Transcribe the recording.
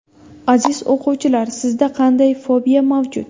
Aziz o‘quvchilar, sizda qanday fobiya mavjud?